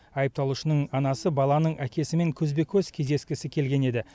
айыпталушының анасы баланың әкесімен көзбе көз кездескісі келген еді